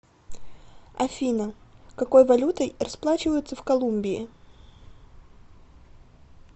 афина какой валютой расплачиваются в колумбии